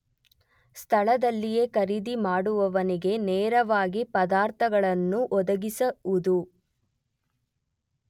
ಸ್ಥಳದಲ್ಲಿಯೆ ಖರೀದಿಮಾಡುವವನಿಗೇ ನೇರವಾಗಿ ಪದಾರ್ಥಗಳನ್ನು ಒದಗಿಸುವುದು.